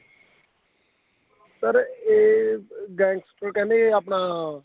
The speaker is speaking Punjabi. sir ਇਹ gangster ਕਹਿੰਦੇ ਆਪਣਾ